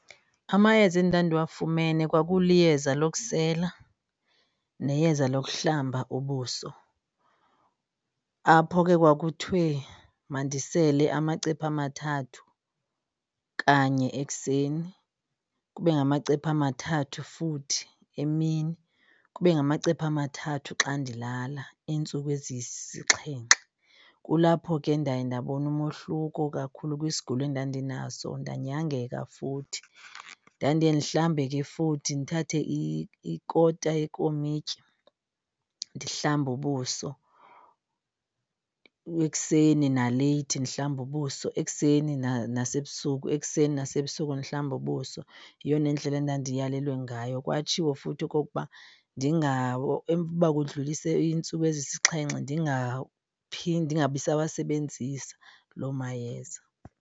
Amayeza endandiwafumene kwakuliyeza lokusela neyeza lokuhlamba ubuso. Apho ke kwakuthiwe mandisele amacephe amathathu kanye ekuseni, kube ngamacephe amathathu futhi emini, kube ngamacephe amathathu xa ndilala iintsuku ezisixhenxe. Kulapho ke ndaye ndabona umohluko kakhulu kwisigulo endandinaso ndanyangeka futhi. Ndandiye ndihlambe ke futhi, ndithathe ikota yekomityi ndihlambe ubuso ekuseni naleyithi, ndihlambe ubuso ekuseni nasebusuku ekuseni nasebusuku ndihlambe ubuso. Yeyona ndlela endandiyalelwe ngayo, kwatshiwo futhi okokuba uba kudlulise iintsuku ezisixhenxe ndingabi sawasebenzisa loo mayeza.